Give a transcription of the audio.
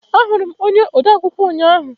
Ahụrụ m onye odeakwụkwọ ụnyaahụ.